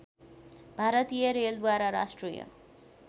भारतीय रेलद्वारा राष्ट्रिय